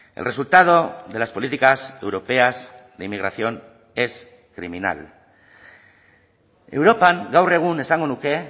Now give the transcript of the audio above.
el resultado de las políticas europeas de inmigración es criminal europan gaur egun esango nuke